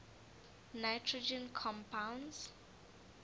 nitrogen compounds